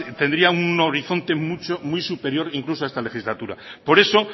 tendría un horizonte muy superior incluso a esta legislatura por eso